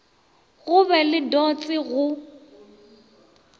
go be le dots go